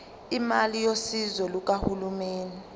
imali yosizo lukahulumeni